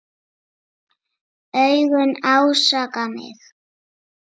Augun ásaka mig.